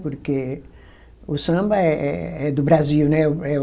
Porque o samba é, é, é do Brasil, né? O